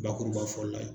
Bakuruba fɔla ye